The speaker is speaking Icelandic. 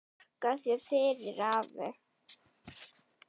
Þakka þér fyrir, afi minn.